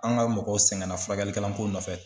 An ka mɔgɔw sɛgɛnna furakɛli kɛlan ko nɔfɛ.